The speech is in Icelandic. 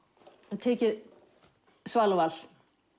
en tekið Sval og Val